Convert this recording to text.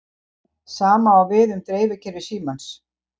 sama á við um dreifikerfi símans